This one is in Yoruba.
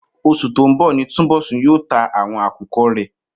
Os̩ù tó ń bò̩ ni Túnbò̩sún yóò ta àwo̩n àkùko̩ rè̩